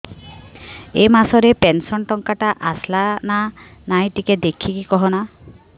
ଏ ମାସ ରେ ପେନସନ ଟଙ୍କା ଟା ଆସଲା ନା ନାଇଁ ଟିକେ ଦେଖିକି କହନା